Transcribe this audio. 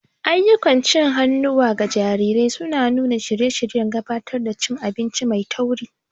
Ayyukan cin hannuwa ga jarirai suna nuna shirye-shiryen gabatar da cin abinci mai tauri.